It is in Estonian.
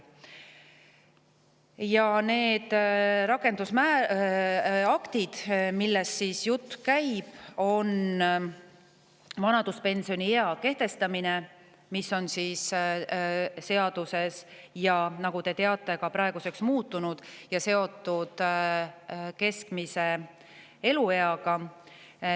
Üks neist rakendusaktidest, millest jutt käib, on vanaduspensioniea kehtestamise, mis on seaduses, ja nagu te teate, see on praeguseks muutunud ja seotud keskmise elueaga.